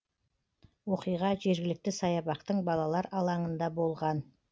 оқиға жергілікті саябақтың балалар алаңында болған